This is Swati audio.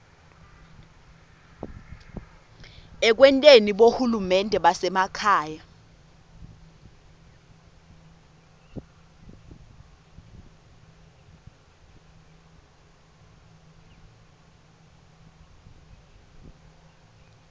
ekwenteni bohulumende basekhaya